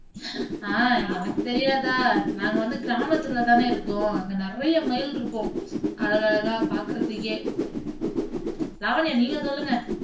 ஆஹ் எனக்குத் தெரியாதா நாங்க வந்து கிராமத்து உள்ள தானே இருக்கோம் அங்க நிறைய மயில் இருக்கும் அழகழகா பார்க்கிறதுக்கே லாவண்யா நீங்க சொல்லுங்க